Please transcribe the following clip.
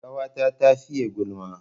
Ƙawata ta fiye gulma